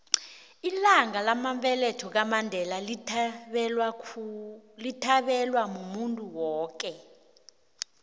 ilanga lamabeletho laka mandela lithabelwa muntuwoke